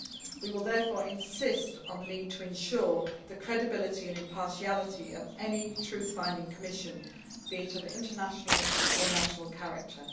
We will therefore insist on the need to ensure the credibility and impartiality of any truth finding commission, be it of international or national character.